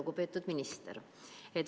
Lugupeetud minister!